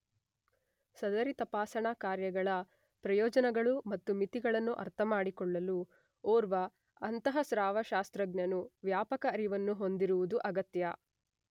ಸದರಿ ತಪಾಸಣಾ ಕಾರ್ಯಗಳ ಪ್ರಯೋಜನಗಳು ಹಾಗೂ ಮಿತಿಗಳನ್ನು ಅರ್ಥಮಾಡಿಕೊಳ್ಳಲು ಓರ್ವ ಅಂತಃಸ್ರಾವಶಾಸ್ತ್ರಜ್ಞನು ವ್ಯಾಪಕ ಅರಿವನ್ನು ಹೊಂದಿರುವುದು ಅಗತ್ಯ.